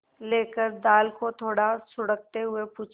लेकर दाल को थोड़ा सुड़कते हुए पूछा